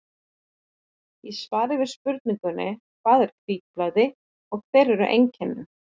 Í svari við spurningunni Hvað er hvítblæði og hver eru einkennin?